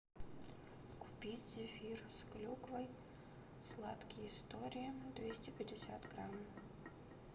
купить зефир с клюквой сладкие истории двести пятьдесят грамм